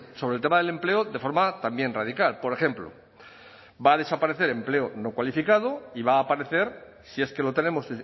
sobre el tema del empleo de forma también radical por ejemplo va a desaparecer empleo no cualificado y va a aparecer si es que lo tenemos